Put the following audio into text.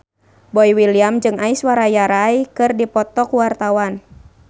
Boy William jeung Aishwarya Rai keur dipoto ku wartawan